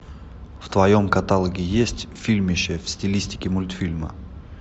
в твоем каталоге есть фильмище в стилистике мультфильма